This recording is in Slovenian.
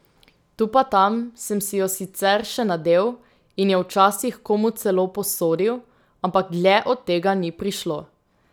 Tu pa tam sem si jo sicer še nadel in jo včasih komu celo posodil, ampak dlje od tega ni prišlo.